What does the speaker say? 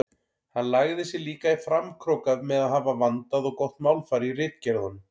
Hann lagði sig líka í framkróka með að hafa vandað og gott málfar í ritgerðunum.